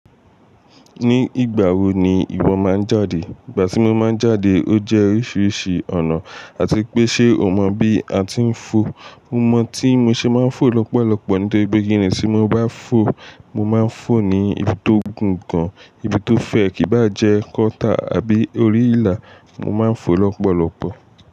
Ní ìgbà wo ni ìwọ máa ń jáde? Ìgbà tí mo máa ń jáde ó jẹ́ oríṣiríṣi ọ̀nà àti pé ṣe o mọ bí a ti ń fo? Mo mọ̀ tí mo ṣe máa ń fo lọ́pọ̀lọpọ̀ nítorípe kínnì tí mo bá fo, mo máa ń fo ní ibi tó gùn gan, ibi tó fẹ́ẹ̀ kí bá jẹ́ gutter àbí orí ìlà, mo máa ń fo lọ́pọ̀lọpọ̀.